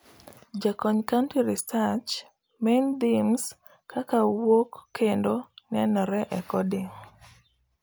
Jakony Country Research Main Themes kaka wuok kendo nenore e coding